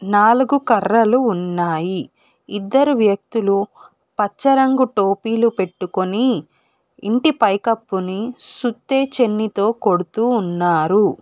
నాలుగు కర్రలు ఉన్నాయి ఇద్దరు వ్యక్తులు పచ్చ రంగు టోపీలు పెట్టుకొని ఇంటి పైకప్పుని సుత్తే చెన్ని తో కొడుతూ ఉన్నారు.